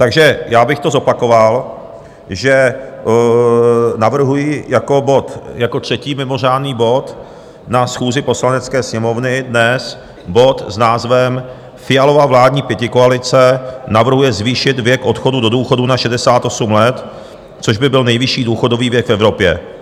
Takže já bych to zopakoval, že navrhuji jako bod, jako třetí mimořádný bod na schůzi Poslanecké sněmovny dnes bod s názvem Fialova vládní pětikoalice navrhuje zvýšit věk odchodu do důchodu na 68 let, což by byl nejvyšší důchodový věk v Evropě.